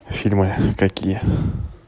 фильмы какие